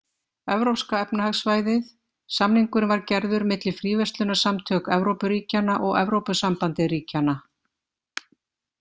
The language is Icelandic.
Evrópska efnahagssvæðið-samningurinn var gerður milli Fríverslunarsamtök Evrópu-ríkjanna og Evrópusambandið-ríkjanna.